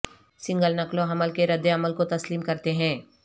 single نقل و حمل کے ردعمل کو تسلیم کرتے ہیں